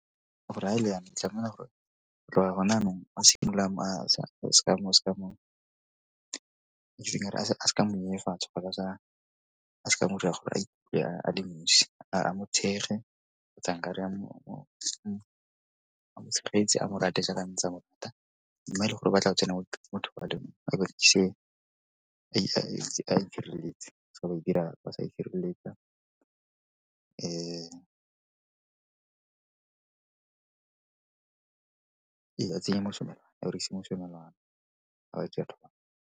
Gore ga e le yana o tlamela go tloga gone yanong o simolola seka a mo nyenyefatsa kgotsa a seka mo dira gore a ikutlwe a nosi, a mo thekge a mo tshegetse a mo rate jaaka ntse a mo . Mme e le gore o batla go tsena mo dipalong tsa seke ra o dira . re ka tsenya mosomelwana, re dirise mosomelwana ga re dira thobalano.